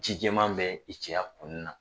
Ji jɛman bɛ i cɛya kunnin na